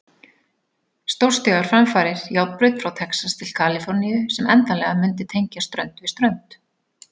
Stórstígar framfarir, járnbraut frá Texas til Kaliforníu sem endanlega mundi tengja strönd við strönd.